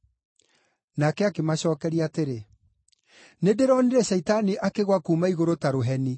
Nake akĩmacookeria atĩrĩ, “Nĩndĩronire Shaitani akĩgũa kuuma igũrũ ta rũheni.